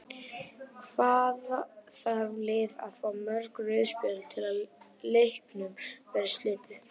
Hvað þarf lið að fá mörg rauð spjöld til að leiknum verði slitið?